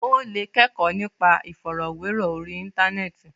Ó lè kẹ́kọ̀ọ́ nípa ìfọ̀rọ̀wérọ̀ orí Íńtánẹ́ẹ̀tì.